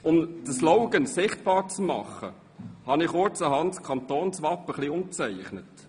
Um diesen Slogan sichtbar zu machen, habe ich kurzerhand das Wappen etwas umgestaltet.